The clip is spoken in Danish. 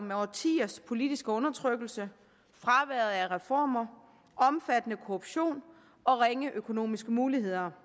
med årtiers politisk undertrykkelse fraværet af reformer omfattende korruption og ringe økonomiske muligheder